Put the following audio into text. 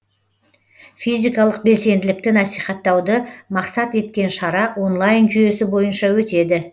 физикалық белсенділікті насихаттауды мақсат еткен шара онлайн жүйесі бойынша өтеді